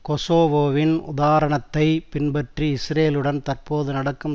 கொசோவோவின் உதாரணத்தைப் பின்பற்றி இஸ்ரேலுடன் தற்பொழுது நடக்கும்